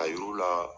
A yiru la